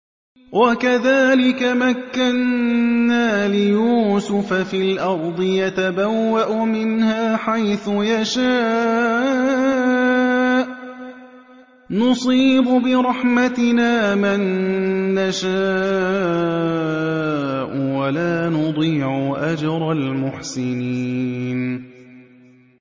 وَكَذَٰلِكَ مَكَّنَّا لِيُوسُفَ فِي الْأَرْضِ يَتَبَوَّأُ مِنْهَا حَيْثُ يَشَاءُ ۚ نُصِيبُ بِرَحْمَتِنَا مَن نَّشَاءُ ۖ وَلَا نُضِيعُ أَجْرَ الْمُحْسِنِينَ